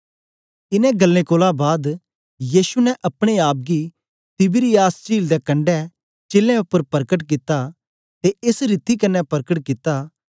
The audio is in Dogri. इनें गल्लें कोलां बाद यीशु ने अपने आप गी तिबिरियास चील दे कणढें चेलें उपर परकट कित्ता ते एस रीति कन्ने परकट कित्ता